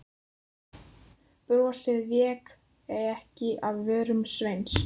Brosið vék ekki af vörum Sveins.